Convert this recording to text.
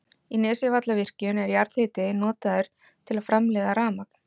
Í Nesjavallavirkjun er jarðhiti notaður til að framleiða rafmagn.